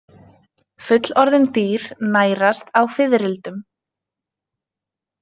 Fullorðin dýr nærast á fiðrildum.